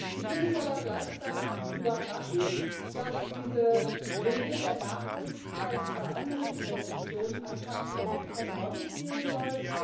Ich finde es aber gleichzeitig überraschend, dass diese Regel der Nachhaltigkeit bei anderen Investitionen anscheinend überhaupt keine Rolle spielen soll.